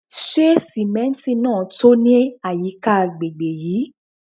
Se simenti naa to ni ayika agbegbe yii?